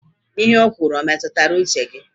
Ihe o kwuru e metụtara uche gị?